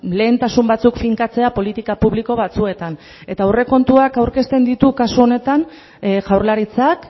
lehentasun batzuk finkatzea politika publiko batzuetan eta aurrekontuak aurkezten ditu kasu honetan jaurlaritzak